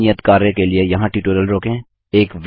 इस नियत कार्य के लिए यहाँ ट्यूटोरियल रोकें